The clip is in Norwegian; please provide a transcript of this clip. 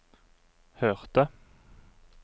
hørte